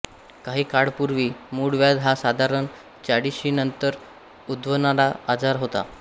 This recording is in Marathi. काही काळपूर्वी मूळव्याध हा साधारण चाळीशीनंतर उद्भवणारा आजार होता